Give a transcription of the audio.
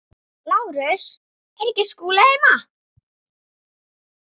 LÁRUS: Er Skúli ekki heima?